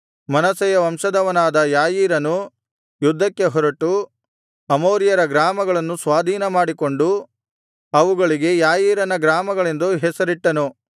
ಮನಸ್ಸೆಯ ವಂಶದವನಾದ ಯಾಯೀರನು ಯುದ್ಧಕ್ಕೆ ಹೊರಟು ಅಮೋರಿಯರ ಗ್ರಾಮಗಳನ್ನು ಸ್ವಾಧೀನಮಾಡಿಕೊಂಡು ಅವುಗಳಿಗೆ ಯಾಯೀರನ ಗ್ರಾಮಗಳೆಂದು ಹೆಸರಿಟ್ಟನು